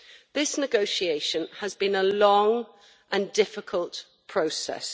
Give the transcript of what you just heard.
This negotiation has been a long and difficult process.